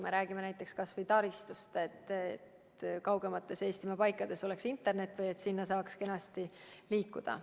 Me räägime näiteks kas või taristust, et kaugemates Eestimaa paikades oleks internet või et sinna saaks kenasti liikuda.